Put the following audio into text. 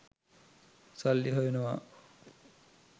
සල්ලි හොයනවා.